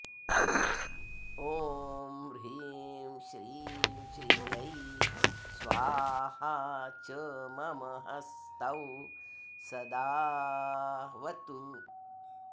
ओं ह्रीं श्रीं श्रियै स्वाहा च मम हस्तौ सदाऽवतु